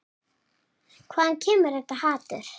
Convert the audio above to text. Hvaðan kemur þetta hatur?